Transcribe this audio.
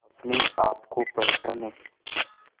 अपने आप को पहचाने